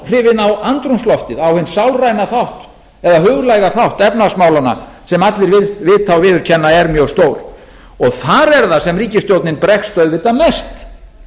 á andrúmsloftið á hinn sálræna þátt huglæga þátt efnahagsmálanna sem allir vita og viðurkenna að er mjög stór þar er það sem ríkisstjórnin bregst auðvitað mest